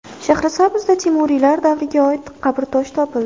Shahrisabzda Temuriylar davriga oid qabrtosh topildi.